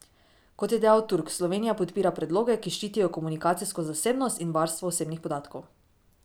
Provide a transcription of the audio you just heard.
Kot je dejal Turk, Slovenija podpira predloge, ki ščitijo komunikacijsko zasebnost in varstvo osebnih podatkov.